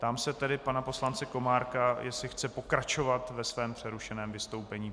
Ptám se tedy pana poslance Komárka, jestli chce pokračovat ve svém přerušeném vystoupení.